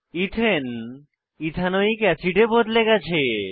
ethane ethanoic অ্যাসিডে বদলে গেছে